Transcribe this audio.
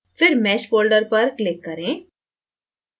फिर mesh folder पर click करें